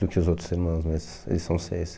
Do que os outros irmãos, mas eles são seis.